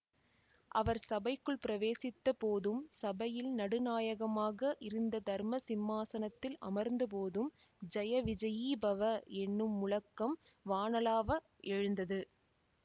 அவர் சபைக்குள் பிரவேசித்த போதும் சபையில் நடுநாயகமாக இருந்த தர்ம சிம்மாசனத்தில் அமர்ந்தபோதும் ஜய விஜயீ பவ என்னும் முழக்கம் வானளாவ எழுந்தது